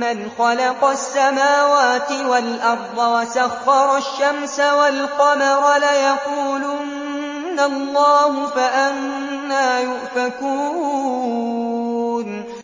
مَّنْ خَلَقَ السَّمَاوَاتِ وَالْأَرْضَ وَسَخَّرَ الشَّمْسَ وَالْقَمَرَ لَيَقُولُنَّ اللَّهُ ۖ فَأَنَّىٰ يُؤْفَكُونَ